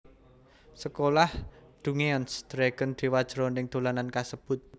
Sekolah Dungeons Dragons dewa jroning dolanan kasebut